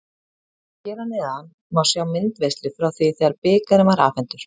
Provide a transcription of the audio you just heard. Hér að neðan má sjá myndaveislu frá því þegar bikarinn var afhentur.